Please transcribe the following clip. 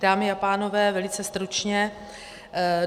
Dámy a pánové, velice stručně.